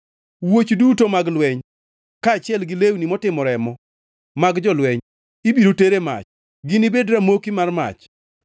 Wuoch duto mag lweny kaachiel gi lewni motimo remo mag jolweny, ibiro ter e mach, ginibedi ramoki mar mach.